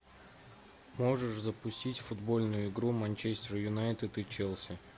можешь запустить футбольную игру манчестер юнайтед и челси